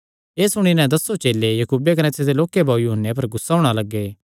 एह़ सुणी नैं दसों चेले याकूबे कने तिसदे लोक्के भाऊ यूहन्ने पर गुस्सा करणा लग्गे